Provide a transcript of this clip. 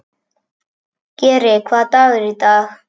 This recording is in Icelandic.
Geri, hvaða dagur er í dag?